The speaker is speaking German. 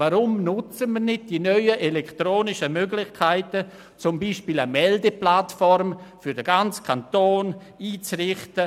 Weshalb nutzen wir nicht die neuen elektronischen Möglichkeiten, um beispielsweise eine Meldeplattform für den ganzen Kanton einzurichten?